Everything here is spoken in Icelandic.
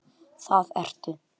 Það ertu.